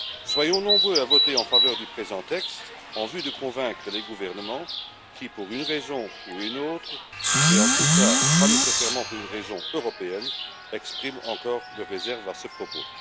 Soyons nombreux à voter en faveur du présent texte en vue de convaincre les gouvernements qui, pour une raison ou une autre mais en tout cas pas nécessairement pour une raison européenne, expriment encore des réserves à ce propos.